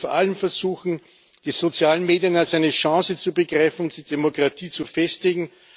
Wir sollten vor allem versuchen, die sozialen Medien als eine Chance zu begreifen, die Demokratie zu festigen.